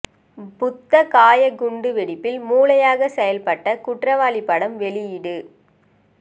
புத்த கயா குண்டு வெடிப்பில் மூளையாக செயல்பட்ட குற்றவாளி படம் வெளியீடு